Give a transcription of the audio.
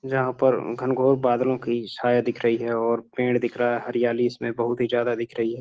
जहां पर घनघोर बादलों की छाया दिख रही है और पेड़ दिख रहा है हरियाली इसमें बहुत ही ज्यादा दिख रही है।